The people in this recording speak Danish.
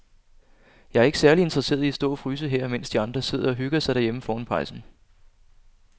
Jeg er ikke særlig interesseret i at stå og fryse her, mens de andre sidder og hygger sig derhjemme foran pejsen.